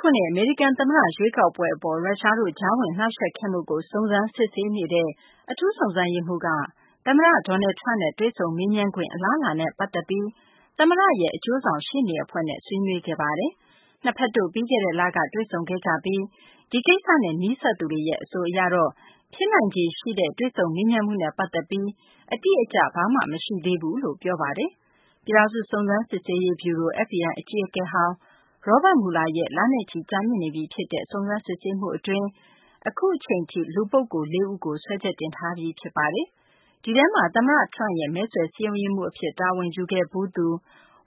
ခုနှစ် အမေရိကန် သမ္မတ ရွေးကောက်ပွဲ အပေါ် ရုရှားတို့ ကြားဝင်နှောင့်ယှက် ခဲ့မှုကို စုံစမ်းစစ်ဆေးနေတဲ့ အထူးစုံစမ်းရေးမှူးက သမ္မတ Donald Trump နဲ့ တွေ့ဆုံမေးမြန်းခွင့် အလားအလာနဲ့ ပတ်သက်ပြီး သမ္မတရဲ့ အကျိုးဆောင်ရှေ့နေအဖွဲ့့နဲ့ ဆွေးနွေးခဲ့ပါတယ်။ နှစ်ဘက်တို့ ပြီးခဲ့တဲ့ လက တွေ့ဆုံခဲ့ကြပြီး ဒီကိစ္စနဲ့ နီးစပ်သူတွေ အဆိုအရတော့ ဖြစ်နိုင်ခြေရှိတဲ့ တွေ့ဆုံမေးမြန်းမှုနဲ့ ပတ်သက်ပြီး အတိအကျ ဘာမှ မရှိသေးဘူးလို့ ပြောပါတယ်။ ပြည်ထောင်စု စုံစမ်းစစ်ဆေးရေး ဗျူရို FBI အကြီးအကဲဟောင်း Robert Mueller ရဲ့ လနဲ့ချီ ကြာမြင့်နေပြီ ဖြစ်တဲ့ စုံစမ်းစစ်ဆေးမှု အတွင်း အခုအချိန်ထိ လူပုဂ္ဂိုလ် ၄ ဦးကို စွဲချက်တင်ထားပြီး ဖြစ်ပါတယ်။ ဒီထဲမှာ သမ္မတ Trump ရဲ့ မဲဆွယ်စည်းရုံးရေးမှူး အဖြစ် တာဝန်ယူခဲ့ဖူးသူ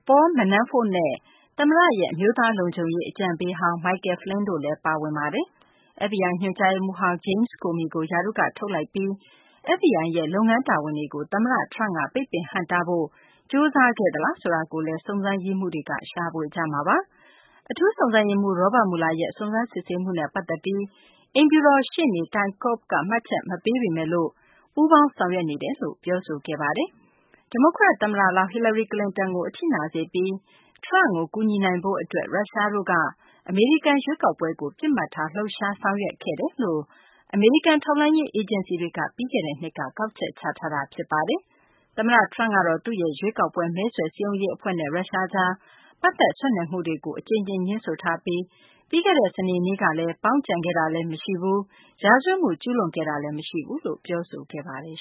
Paul Manafort နဲ့ သမ္မတရဲ့ အမျိုးသား လုံခြုံရေး အကြံပေးဟောင်း Michael Flynn တို့လည်း ပါဝင်ပါတယ်။ FBI ညွှန်ကြားရေးမှူးဟောင်း James Comey ကို ရာထူးက ထုတ်လိုက်ပြီး FBI ရဲ့ လုပ်ငန်းတာဝန်တွေကို သမ္မတ Trump က ပိတ်ပင်ဟန့်တားဖို့ ကြိုးစားခဲ့သလားဆိုတာကိုလည်း စုံစမ်းရေးမှူုးတွေက ရှာဖွေကြမှာပါ။ အထူးစုံစမ်းရေးမှူး Robert Mueller ရဲ့ စုံစမ်းစစ်ဆေးမှုနဲ့ ပတ်သက်ပြီး အိမ်ဖြူတော် ရှေ့နေ Ty Cobb က မှတ်ချက် မပေးပေမယ့် ပူးပေါင်းဆောင်ရွက်နေတယ်လို့ ပြောဆိုခဲ့ပါတယ်။ ဒီမိုကရက် သမ္မတလောင်း ဟီလာရီ ကလင်တန်ကို အထိနာစေပြီး Trump ကို ကူညီနိုင်ဖို့ အတွက် ရုရှားတို့က အမေရိကန် ရွေးကောက်ပွဲကို ပစ်မှတ်ထားပြီး လှုပ်ရှား ဆောင်ရွက်ခဲ့တယ်လို့ အမေရိကန် ထောက်လှမ်းရေး အေဂျင်စီတွေက ပြီးခဲ့တဲ့နှစ်က ကောက်ချက်ချထားတာပါ။ သမ္မတ Trump ကတော့ သူ့ရဲ့ ရွေးကောက်ပွဲ မဲဆွယ်စည်းရုံးရေး အဖွဲ့နဲ့ ရုရှားကြား ပတ်သက်ဆက်နွယ်မှုတွေကို အကြိမ်ကြိမ် ငြင်းဆိုထားပြီး ပြီးခဲ့တဲ့ စနေနေ့ကတော့ ပေါင်းကြံခဲ့တာလည်း မရှိဘူး ရာဇဝတ်မှု ကျူးလွန်ခဲ့တာလည်း မရှိဘူးလို့ ပြောဆိုခဲ့ပါတယ်